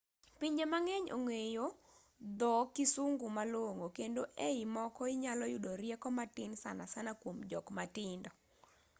pinje mang'eny ong'eyo dho kisungu malong'o kendo e i moko inyalo yudo rieko matin sanasana kuom jok matindo